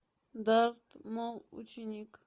дарт мол ученик